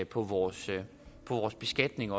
på vores vores beskatning